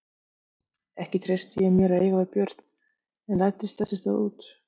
Ekki treysti ég mér að eiga við Björn en læddist þess í stað út.